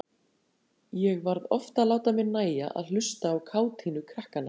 Ég varð oft að láta mér nægja að hlusta á kátínu krakkanna.